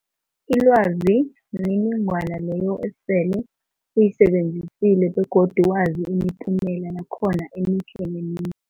Ilwazi mniningwana leyo osele uyisebenzisile begodu wazi imiphumela yakhona emihle nemim